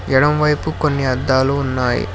ఎడమ వైపు కొన్ని అద్దాలు ఉన్నాయి.